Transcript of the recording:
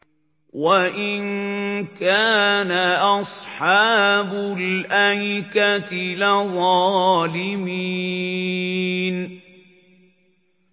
وَإِن كَانَ أَصْحَابُ الْأَيْكَةِ لَظَالِمِينَ